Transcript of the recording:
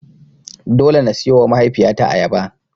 Dole na siyowa mahaifiyata ayaba.